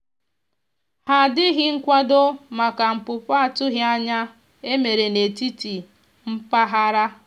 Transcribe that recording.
ha dịghị nkwado maka npụpụ atụghi anya e mere na etiti mpaghara.